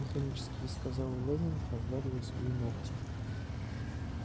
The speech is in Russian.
механически сказал лэннинг разглядывая свои ногти